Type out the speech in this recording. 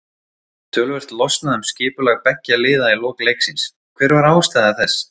Töluvert losnaði um skipulag beggja liða í lok leiksins, hver var ástæða þess?